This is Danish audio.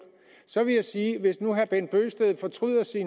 så vil jeg sige at hvis nu herre bent bøgsted fortryder sit